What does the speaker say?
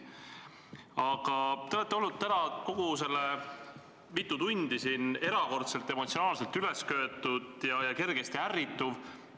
Aga te olete olnud täna kõik need mitu tundi siin erakordselt emotsionaalselt ülesköetud ja kergesti ärrituv.